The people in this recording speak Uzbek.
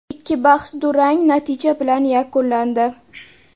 Ikki bahs durang natija bilan yakunlandi.